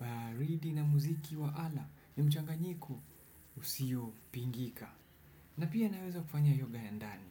Baridi na muziki wa ala ni mchanganyiko usio pingika. Na pia naweza kufanya yoga ya ndani.